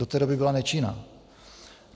Do té doby byla nečinná.